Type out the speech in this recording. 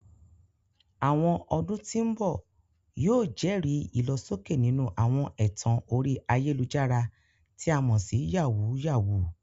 Àwọn ọdún tí ń bọ̀ yóò jẹ́rìí ìlọsókè nínú àwọn ẹ̀tàn orí ayélujára, tí a mọ̀ sí "yàwúyáwù ."